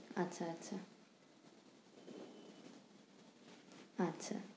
আচ্ছা আচ্ছা আচ্ছা